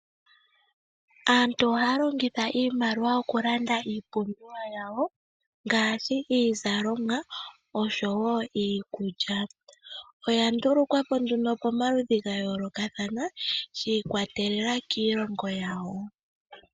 Aantu ohaa longitha iimaliwa oku landa iipumbiwa yawo, ngaashi iizalomwa osho woo iikulya. Oya ndulukwa po nduno komaludhi ga yoolokathana shi ikwatelela kiilongo yawo.